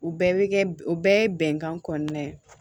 U bɛɛ bɛ kɛ u bɛɛ ye bɛnkan kɔnɔna ye